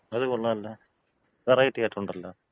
അത് കൊള്ളാല്ല. വെറൈറ്റി ആയിട്ടുണ്ടല്ല.